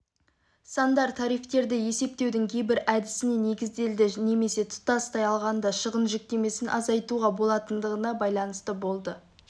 сандар тарифтерді есептеудің кейбір әдісіне негізделді немесе тұтастай алғанда шығын жүктемесін азайтуға болатындығына байланысты болды